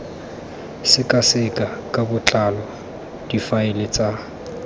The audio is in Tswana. sekaseka ka botlalo difaele tsa